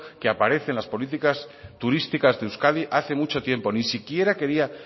que aparece en las políticas turísticas de euskadi hace mucho tiempo ni siquiera quería